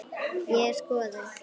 Ég hef skoðun.